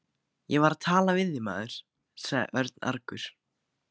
Ég var að tala við þig, maður sagði Örn argur.